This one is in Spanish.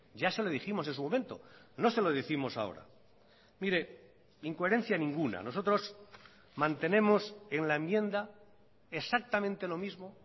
ya se lo dijimos en su momento no se lo décimos ahora mire incoherencia ninguna nosotros mantenemos en la enmienda exactamente lo mismo